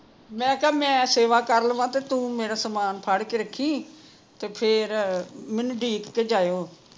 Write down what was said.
ਮੈਂ ਕਿਹਾ ਮੈਂ ਸੇਵਾ ਕਰ ਲਵ ਤੂ ਮੇਰਾ ਸਮਾਨ ਜਿਹਾ ਫੜ ਕੇ ਰੱਖੀ ਤੇ ਫੇਰ, ਮੈਂਨੂੰ ਡੀਕ ਕੇ ਜਾਇਓ